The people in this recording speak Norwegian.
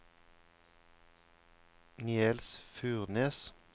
Niels Furnes